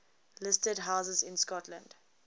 listed houses in scotland